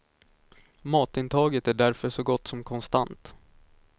Matintaget är därför så gott som konstant.